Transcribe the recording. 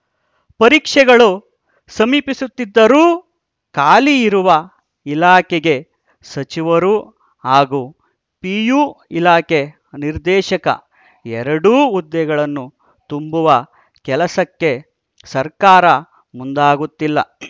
ಪರೀಕ್ಷೆಗಳು ಸಮೀಪಿಸುತ್ತಿದ್ದರೂ ಖಾಲಿ ಇರುವ ಇಲಾಖೆಗೆ ಸಚಿವರು ಹಾಗೂ ಪಿಯು ಇಲಾಖೆ ನಿರ್ದೇಶಕ ಎರಡೂ ಹುದ್ದೆಗಳನ್ನು ತುಂಬುವ ಕೆಲಸಕ್ಕೆ ಸರ್ಕಾರ ಮುಂದಾಗುತ್ತಿಲ್ಲ